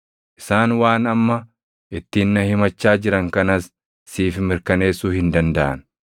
Isaan waan amma ittiin na himachaa jiran kanas siif mirkaneessuu hin dandaʼan.